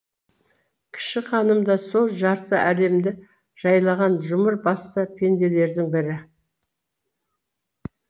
кіші ханым да сол жарты әлемді жайлаған жұмыр басты пенделердің бірі